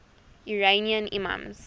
iranian imams